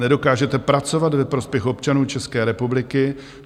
Nedokážete pracovat ve prospěch občanů České republiky.